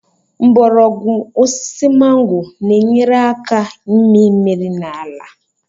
Mgbọrọgwụ osisi mango na-enyere aka ịmị mmiri n'ala